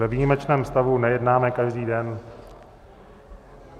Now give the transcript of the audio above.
Ve výjimečném stavu nejednáme každý den.